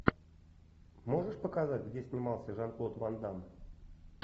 можешь показать где снимался жан клод ван дамм